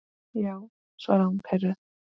Já, svaraði hún pirruð.